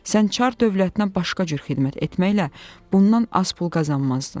Sən çar dövlətinə başqa cür xidmət etməklə bundan az pul qazanmazdın.